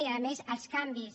i a més els canvis